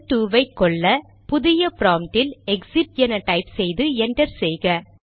shell 2 ஐ கொல்ல புதிய ப்ராம்ப்ட் இல் எக்சிட் என டைப் செய்து என்டர் செய்க